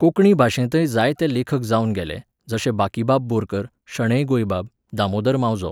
कोंकणी भाशेंतय जायते लेखक जावन गेले, जशे बाकीबाब बोरकार, शणै गोंयबाब, दामोदर मावजो